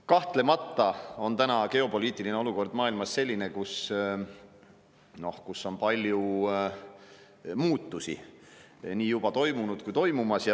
Kahtlemata on praegune geopoliitiline olukord maailmas selline, kus on palju muutusi juba nii juba toimunud kui ka toimumas.